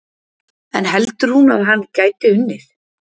En heldur hún að hann gæti unnið?